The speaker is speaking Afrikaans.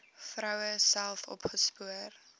vroue self opgespoor